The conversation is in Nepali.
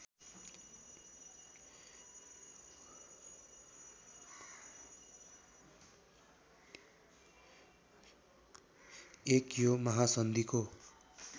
१ यो महासन्धिको